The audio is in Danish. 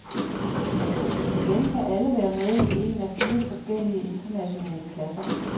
Igen kan alle være med i en af fire forskellige internationale klasser.